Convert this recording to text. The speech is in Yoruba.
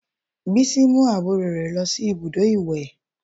Bísí mú àwọn àbúrò rẹ̀ lọ sí ibùdó ìwẹ̀